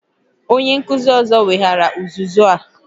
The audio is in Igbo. Onye nkuzi ọzọ weghaara uzuzu a